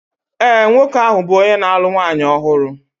ee, nwoke ahụ bụ onye na-alụ nwanyị ọhụrụ